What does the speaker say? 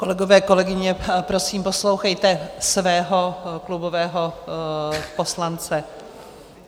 Kolegové, kolegyně, prosím, poslouchejte svého klubového poslance.